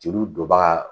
Jeliw donbaga